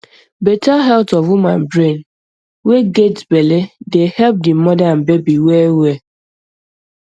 better health of woman brain way get belleeh dey help di mother and baby well well